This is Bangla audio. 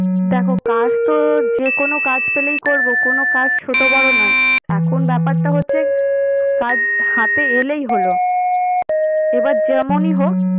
দেখো কাজ তো যেকোনো কাজ পেলেই করবো। কোনো কাজ ছোট বড় নয়। এখন ব্যাপারটা হচ্ছে কাজ হাতে এলেই হলো। এবার যেমনই হোক।